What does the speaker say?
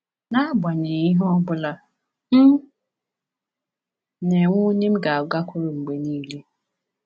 N’agbanyeghị ihe ọ bụla, m na-enwe onye m ga-agakwuru mgbe niile.”